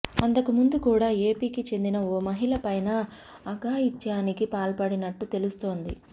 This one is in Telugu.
అంతకముందు కూడా ఏపీకి చెందిన ఓ మహిళపైనా అఘాయిత్యానికి పాల్పడినట్టు తెలుస్తోంది